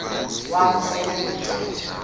wav usel ubucima